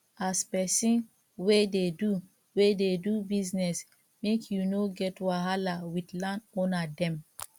as pesin wey dey do wey dey do business make you no get wahala wit landowner dem